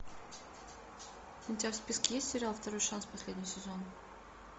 у тебя в списке есть сериал второй шанс последний сезон